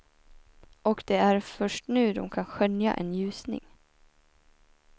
Och det är först nu de kan skönja en ljusning.